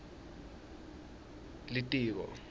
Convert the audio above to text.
litiko